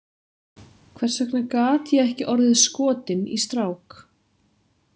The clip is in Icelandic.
Hvers vegna gat ég ekki orðið skotin í strák?